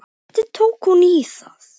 Hvernig tók hún í það?